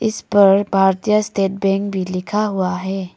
इस पर Bharatiya State Bank भी लिखा हुआ है।